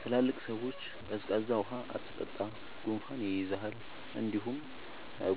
ትላልቅ ሰዎች “ቀዝቃዛ ውሃ አትጠጣ፣ ጉንፋን ይይዝሃል እንዲሁም